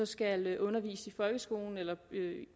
skal undervise i folkeskolen eller